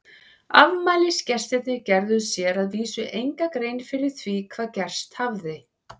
Afmælisgestirnir gerðu sér að vísu enga grein fyrir því hvað gerst hafði.